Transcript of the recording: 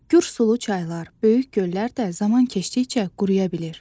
Gür sulu çaylar, böyük göllər də zaman keçdikcə quruya bilir.